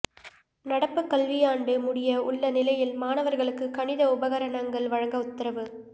நடப்பு கல்வியாண்டு முடிய உள்ள நிலையில் மாணவர்களுக்கு கணித உபகரணங்கள் வழங்க உத்தரவு